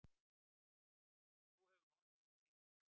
Þú hefur notið útsýnisins?